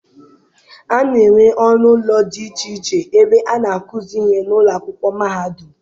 A na-enwe ọnụ ụlọ dị iche iche ebe a na-akuzi ihe n'ụlọ akwụkwọ mahadum.